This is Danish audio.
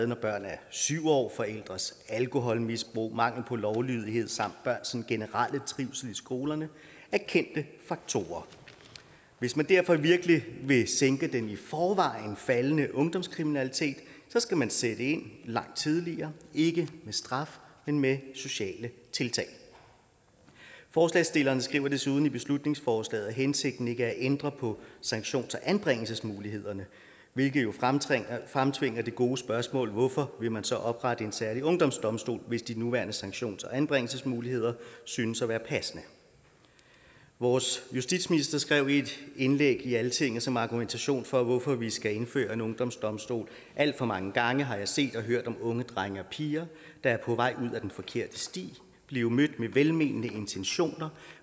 når børn er syv år forældres alkoholmisbrug mangel på lovlydighed samt børns sådan generelle trivsel i skolerne er kendte faktorer hvis man derfor virkelig vil sænke den i forvejen faldende ungdomskriminalitet skal man sætte ind langt tidligere ikke med straf men med sociale tiltag forslagsstillerne skriver desuden i beslutningsforslaget at hensigten ikke er at ændre på sanktions og anbringelsesmulighederne hvilket jo fremtvinger fremtvinger det gode spørgsmål hvorfor vil man så oprette en særlig ungdomsdomstol hvis de nuværende sanktions og anbringelsesmuligheder synes at være passende vores justitsminister skrev i et indlæg i altinget som argumentation for hvorfor vi skal indføre en ungdomsdomstol alt for mange gange har jeg set og hørt om unge drenge og piger der er på vej ud ad den forkerte sti blive mødt med velmenende intentioner